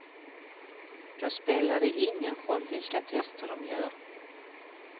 Då spelar det ingen roll vilka tester dom gör.